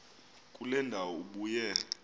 kule ndawo ubuye